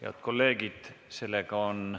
Head kolleegid!